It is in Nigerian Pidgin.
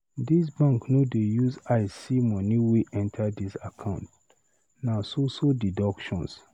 Dis bank no dey use eye see moni wey enta dis account, na so so deduction.